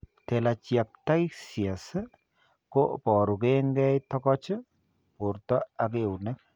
Telangiectasias ko boru ke eng' togoch, borto ak eunek.